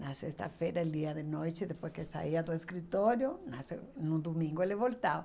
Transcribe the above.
Na sexta-feira, ele ia de noite, depois que saía do escritório, mas eh no domingo ele voltava.